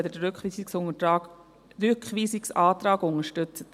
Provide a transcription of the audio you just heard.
Danke, wenn Sie den Rückweisungsantrag unterstützen.